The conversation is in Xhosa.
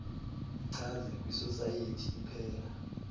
ichaze kwisosayethi iphela